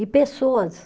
E pessoas.